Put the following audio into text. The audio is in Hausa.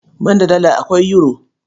Banda Dala, akwai Yuro.